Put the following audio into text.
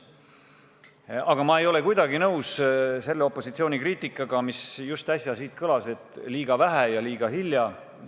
Aga ma ei ole kuidagi nõus selle opositsiooni kriitikaga, mis just äsja siit kõlas: et liiga vähe ja liiga hilja.